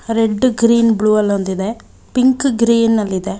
Red green blue ಅಲ್ ಒಂದಿದೆ pink grey ನಲ್ಲಿದೆ.